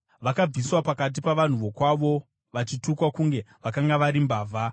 Vakabviswa pakati pavanhu vokwavo, vachitukwa kunge vakanga vari mbavha.